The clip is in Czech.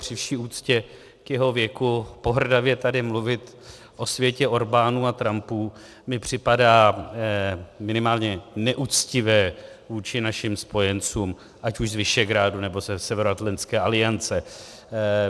Při vší úctě k jeho věku pohrdavě tady mluvit o světě Orbánů a Trumpů mi připadá minimálně neuctivé vůči našim spojencům, ať už z Visegrádu, nebo ze Severoatlantické aliance.